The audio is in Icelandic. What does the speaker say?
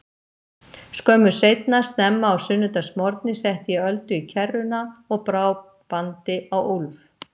Skömmu seinna, snemma á sunnudagsmorgni, setti ég Öldu í kerruna og brá bandi á Úlf.